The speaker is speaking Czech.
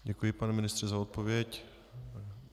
Děkuji, pane ministře za odpověď.